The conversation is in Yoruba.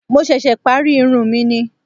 Mo ṣẹ̀ṣẹ̀ parí irun mi ni